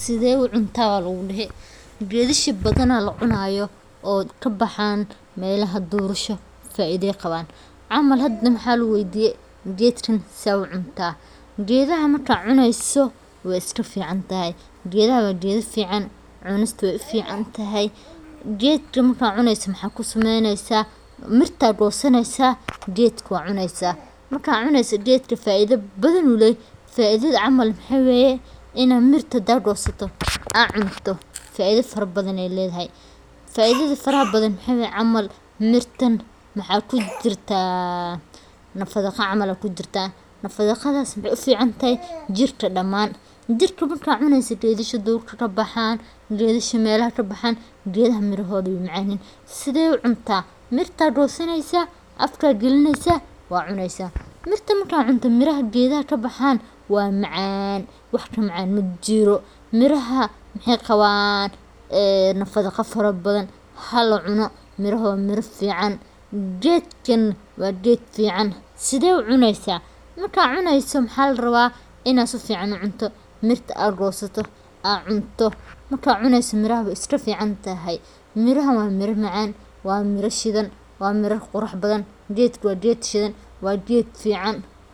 Sidee u cuntaa aa lagu dehe waa dhaqan caan ah oo laga helo deegaanada miyiga ee Soomaaliya. Dadka qaarkood waxay aaminsan yihiin in gedaha qaarkood leeyihiin faa’iidooyin caafimaad sida daaweynta cudurada caloosha ama dhiig-karka. Sidoo kale, xoolaha sida geela iyo ariga ayaa si joogto ah u cuna caleemaha iyo laamaha geedaha, taasoo qayb ka ah hab nololeedkooda dabiiciga ah. Cunista gedaha waxay sidoo kale door muhiim ah ka ciyaartaa ilaalinta deegaanka, maadaama ay dhiirrigeliso isticmaalka kheyraadka dabiiciga ah ee la cusboonaysiin